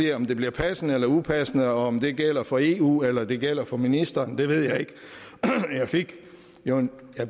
og om det bliver passende eller upassende og om det gælder for eu eller det gælder for ministeren ved jeg ikke jeg